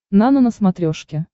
нано на смотрешке